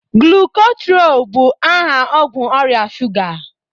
glucotrol bụ aha ọgwụ ọrịa shuga